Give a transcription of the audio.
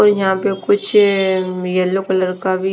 और यहाँ पे कुछ अ यलो कलर का भी--